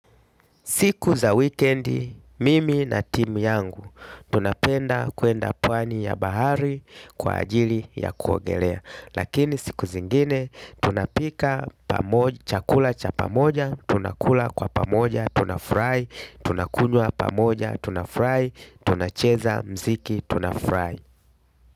Siku za wikendi, mimi na timu yangu tunapenda kuenda pwani ya bahari kwa ajili ya kuogelea. Lakini siku zingine tunapika chakula cha pamoja tunakula kwa pamoja tunafurahi tunakunywa pamoja tunafurahi tunacheza muziki tunafurahi.